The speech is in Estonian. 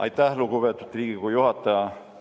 Aitäh, lugupeetud Riigikogu juhataja!